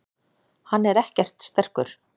Hann er ekkert sterkur.